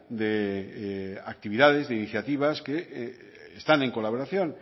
de actividades de iniciativas que están en colaboración